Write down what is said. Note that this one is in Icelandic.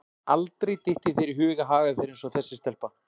Aldrei dytti þér í hug að haga þér eins og þessi stelpa.